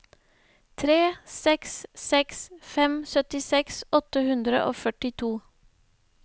tre seks seks fem syttiseks åtte hundre og førtito